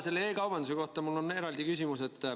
E-kaubanduse kohta on mul eraldi küsimus.